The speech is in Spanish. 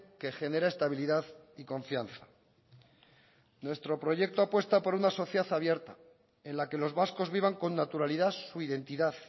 que genera estabilidad y confianza nuestro proyecto apuesta por una sociedad abierta en la que los vascos vivan con naturalidad su identidad